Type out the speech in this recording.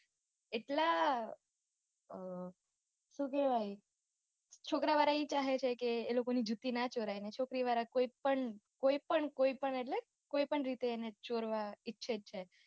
એટલાં શું કેહવાય છોકરાં વાળા ઈ ચાહે છે કે એ લોકોની જુતી ના ચોરાય ને છોકરી વાળા કોઈ પણ કોઈ પણ એટલે કોઈ પણ રીતે એને ચોરવા ઈચ્છે છે